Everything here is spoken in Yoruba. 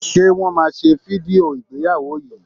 Ṣe Wọ́n máa ṣe fídíò ìgbéyàwó yìí?